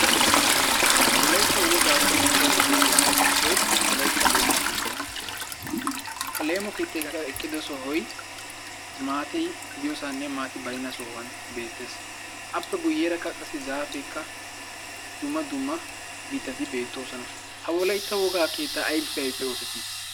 Wolaytta wogaa qonccissiyageetuppekka issoy Wolytta leemo keettaa. Ha leemo keettaykka qassi eqqido sohoy maati de'iyosaanne baynna suwan beettees. Appe guyyeerakka qassi zaafeekka, dumma dumma mittati beettoosona. Ha Wolaytta wogaa keettay aybippe aybippe oosetti?